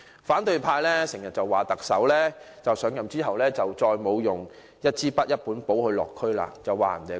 反對派經常批評特首上任後便沒有再帶一支筆、一本簿落區，指他說謊。